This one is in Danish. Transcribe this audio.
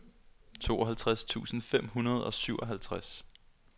tooghalvtreds tusind fem hundrede og syvoghalvtreds